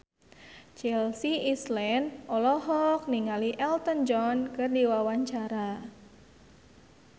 Chelsea Islan olohok ningali Elton John keur diwawancara